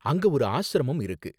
அங்க ஒரு ஆஷ்ரமம் இருக்கு.